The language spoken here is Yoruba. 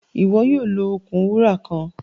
Iwọ yoo lo okun wura kan.